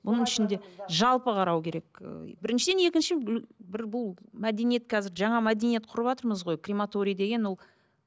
бұның ішінде жалпы қарау керек ы біріншіден екінші біл бір бұл мәдениет қазір жаңа мәдениет құрыватырмыз ғой крематорий деген ол